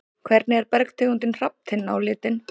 Hvernig er bergtegundin hrafntinna á litinn?